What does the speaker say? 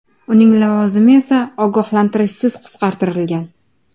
Uning lavozimi esa ogohlantirishsiz qisqartirilgan.